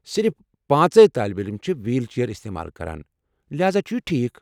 صِرف پانژے طٲلب علم چھِ ویٖل چیٛر استعمال کران، لہذا چھُ یہِ ٹھیٖک۔